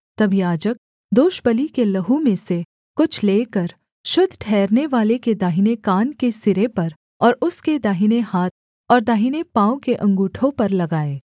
तब याजक दोषबलि के लहू में से कुछ लेकर शुद्ध ठहरनेवाले के दाहिने कान के सिरे पर और उसके दाहिने हाथ और दाहिने पाँव के अँगूठों पर लगाए